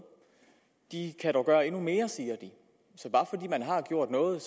de kan dog gøre endnu mere siger de så bare fordi man har gjort noget